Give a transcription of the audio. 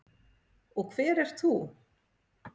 Og hver ert þú?